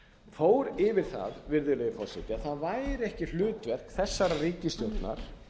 fór yfir það virðulegi forseti að það væri ekki hlutverk þessarar ríkisstjórnar